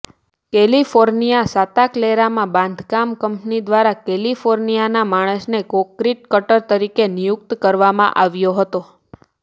કૅલિફોર્નિયાના Santa ક્લેરામાં બાંધકામ company દ્વારા કેલિફોર્નિયાના માણસને કોંક્રિટ કટર તરીકે નિયુક્ત કરવામાં આવ્યો હતો